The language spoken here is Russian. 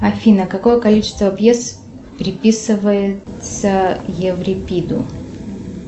афина какое количество пьес приписывается еврипиду